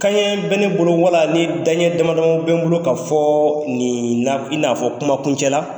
Kanɲɛ bɛ ne bolo wala ni danɲɛ damadamaw bɛ n bolo ka fɔ i n'afɔ kumakuncɛ la